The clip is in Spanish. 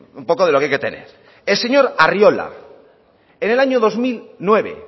un poco de lo que hay que tener el señor arriola en el año dos mil nueve